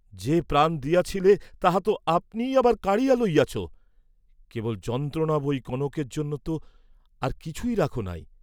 যে প্রাণ দিয়াছিলে তাহা তো আপনিই আবার কাড়িয়া লইয়াছ, কেবল যন্ত্রণা বই কনকের জন্য ত আর কিছুই রাখ নাই।